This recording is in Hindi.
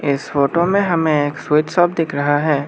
इस फोटो में हमें एक स्वीट शॉप दिख रहा है।